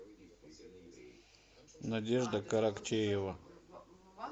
надежда каракчеева